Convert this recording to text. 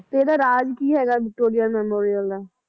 ਤੇ ਇਹਦਾ ਰਾਜ ਕੀ ਹੈਗਾ ਵਿਕਟੋਰੀਆ ਮੇਮੋਰਿਯਲ ਦਾ?